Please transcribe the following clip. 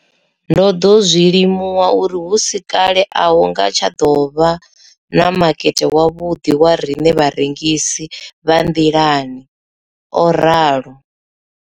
Ndo ḓo zwi limuwa uri hu si kale a hu nga tsha ḓo vha na makete wavhuḓi wa riṋe vharengisi vha nḓilani, o ralo.